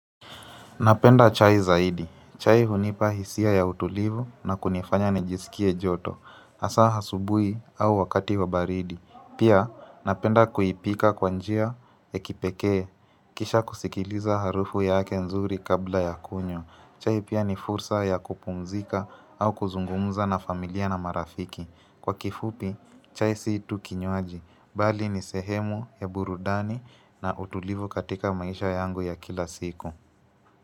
Napenda chai zaidi. Chai hunipa hisia ya utulivu na kunifanya nijiskie joto. Hasa asubui au wakati wa baridi. Pia napenda kuipika kwa njia ya kipekee. Kisha kusikiliza harufu yake nzuri kabla ya kunywa. Chai pia ni fursa ya kupumzika au kuzungumuza na familia na marafiki. Kwa kifupi, chai si tu kinywaji. Bali ni sehemu ya burudani na utulivu katika maisha yangu ya kila siku.